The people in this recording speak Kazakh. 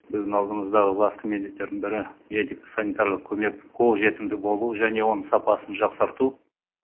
біздің алдымыздағы басты міндеттердің бірі медико санитарлық көмек қолжетімді болу және оның сапасын жақсарту